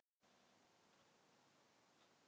Þórörn, hvað er í matinn?